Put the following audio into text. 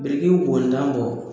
Biriki wontan bɔ